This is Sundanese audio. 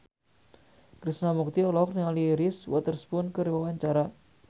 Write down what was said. Krishna Mukti olohok ningali Reese Witherspoon keur diwawancara